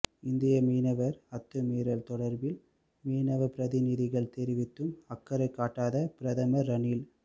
இந்திய மீனவர் அத்துமீறல் தொடர்பில் மீனவபிரதிநிதிகள் தெரிவித்தும் அக்கறை காட்டாத பிரதமர் ரணில்